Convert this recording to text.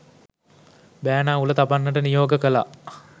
බෑනා උල තබන්නට නියෝග කළා.